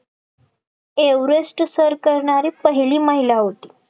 Everest सर करणारी पहिली महिला होती